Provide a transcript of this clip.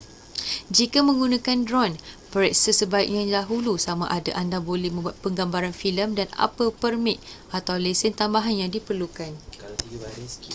jika menggunakan dron periksa sebaiknya dahulu samada anda boleh membuat penggambaran filem dan apa permit atau lesen tambahan yang diperlukan